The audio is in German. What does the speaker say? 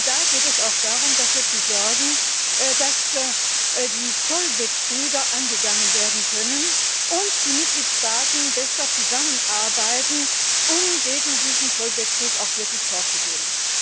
Denn da geht es auch darum, dafür zu sorgen, dass die Zollbetrüger angegangen werden können und die Mitgliedstaaten besser zusammenarbeiten, um gegen diesen Zollbetrug wirklich vorzugehen.